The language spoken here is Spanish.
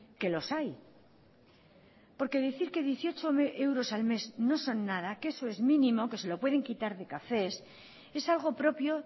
que los hay porque decir que dieciocho euros al mes no son nada que eso es mínimo que se lo pueden quitar de cafés es algo propio